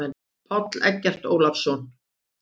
Páll Eggert Ólason.